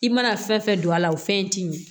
I mana fɛn fɛn don a la o fɛn ti min